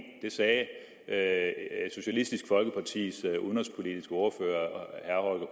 det sagde socialistisk folkepartis udenrigspolitiske ordfører herre